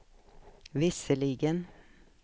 visserligen